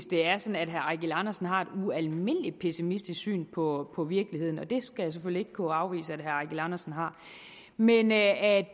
det er sådan at herre eigil andersen har et ualmindelig pessimistisk syn på på virkeligheden og det skal jeg selvfølgelig ikke kunne afvise at herre eigil andersen har men at